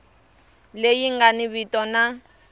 leyi nga ni vito na